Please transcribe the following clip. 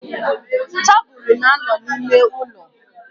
Tabulu na-ano n'ime ulo.